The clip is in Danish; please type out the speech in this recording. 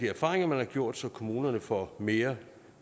erfaringer man har gjort sig så kommunerne får mere